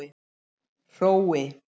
Hrói